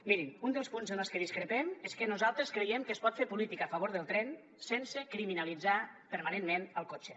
mirin un dels punts en el que discrepem és que nosaltres creiem que es pot fer política a favor del tren sense criminalitzar permanentment el cotxe